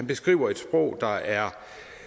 beskriver et sprog der er